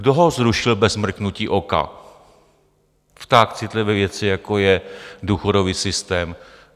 Kdo ho zrušil bez mrknutí oka v tak citlivé věci, jako je důchodový systém?